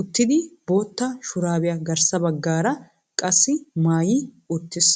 uttidi bootta shuraabiya garsa bagaara qassi maayi uttiis.